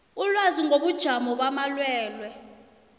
ilwazi ngobujamo bamalwelwe